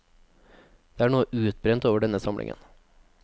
Det er noe utbrent over denne samlingen.